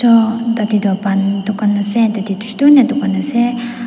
tadeh toh pan dukan ase ase.